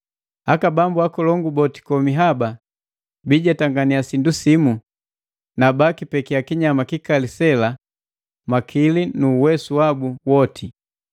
Aka bambu akolongu boti komi haba biijetangania sindu simu, na bakipekiya kinyama kikali sela makili nu uwesu wabu woti.